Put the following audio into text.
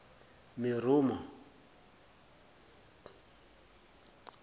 meromo